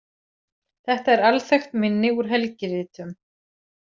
Þetta er alþekkt minni úr helgiritum.